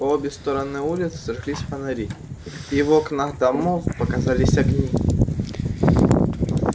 по обе стороны улицы жглись фонари и в окнах домов показались огни